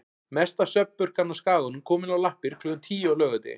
Mesta svefnpurkan á Skaganum komin á lappir klukkan tíu á laugardegi.